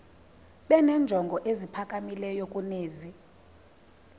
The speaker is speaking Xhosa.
benenjongo eziphakamileyo kunezi